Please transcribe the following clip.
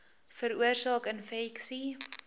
veroorsaak infeksie